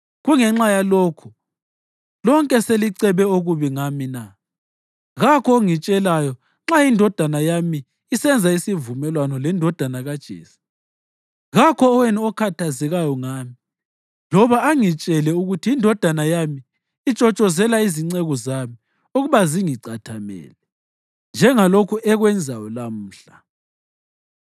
Kungenxa yalokho lonke selicebe okubi ngami na? Kakho ongitshelayo nxa indodana yami isenza isivumelwano lendodana kaJese. Kakho owenu okhathazekayo ngami loba angitshele ukuthi indodana yami itshotshozela izinceku zami ukuba zingicathamele, njengalokhu ekwenzayo lamhla.”